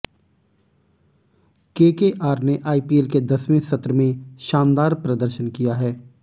KKR ने IPL के दसवें सत्र में शानदार प्रदर्शन किया है